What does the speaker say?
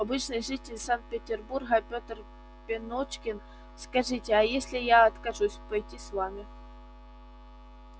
обычный житель санкт-петербурга петр пеночкин скажите а если я откажусь пойти с вами